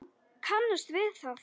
Þú kannast við það!